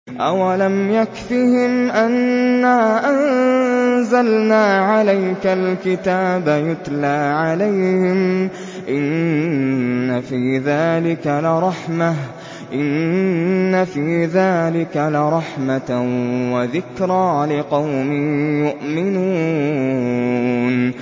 أَوَلَمْ يَكْفِهِمْ أَنَّا أَنزَلْنَا عَلَيْكَ الْكِتَابَ يُتْلَىٰ عَلَيْهِمْ ۚ إِنَّ فِي ذَٰلِكَ لَرَحْمَةً وَذِكْرَىٰ لِقَوْمٍ يُؤْمِنُونَ